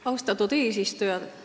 Austatud eesistuja!